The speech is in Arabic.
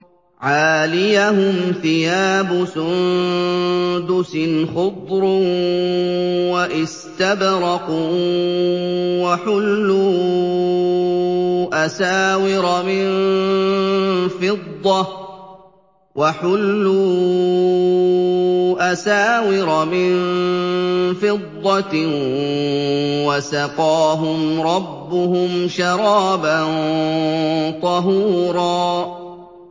عَالِيَهُمْ ثِيَابُ سُندُسٍ خُضْرٌ وَإِسْتَبْرَقٌ ۖ وَحُلُّوا أَسَاوِرَ مِن فِضَّةٍ وَسَقَاهُمْ رَبُّهُمْ شَرَابًا طَهُورًا